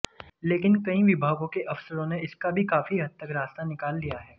लेकिन कई विभागों के अफसरों ने इसका भी काफी हद तक रास्ता निकाल लिया है